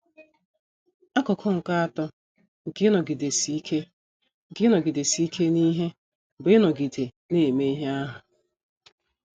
Akụkụ nke atọ nke ịnọgidesi ike nke ịnọgidesi ike n’ihe bụ ịnọgide na - eme ihe ahụ.